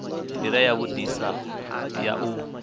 ndila ya vhudisa ya u